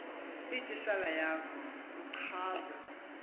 itishala yakho uchaze